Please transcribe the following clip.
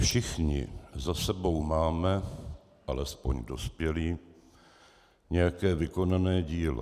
Všichni za sebou máme, alespoň dospělí, nějaké vykonané dílo.